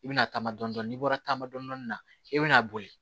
I bɛna taama dɔndɔni n'i bɔra taama dɔni na i bɛna boli